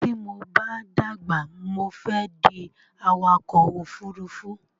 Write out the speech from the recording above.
Tí mo bá dàgbà, mo fé di awakọ̀ ofúrufú